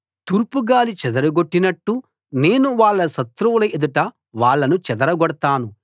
తూర్పుగాలి చెదరగొట్టినట్టు నేను వాళ్ళ శత్రువుల ఎదుట వాళ్ళను చెదరగొడతాను